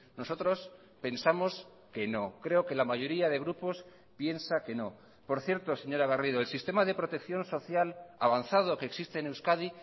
nosotros pensamos que no creo que la mayoría de grupos piensa que no por cierto señora garrido el sistema de protección social avanzado que existe en euskadi